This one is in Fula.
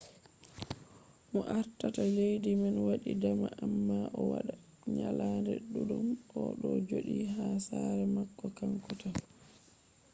mo ardata leddi man waɗi dama amma o waɗa nyalaɗe ɗuɗɗum o ɗo joɗi ha sare mako kanko tan